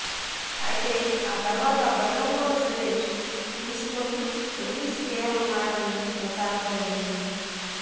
అయితే ఆ తర్వాత బెల్లంకొండ సురేష్ తీసుకొని ర్లీజ్ చేయనున్నాడని ప్రచారం జరిగింది